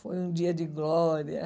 Foi um dia de glória.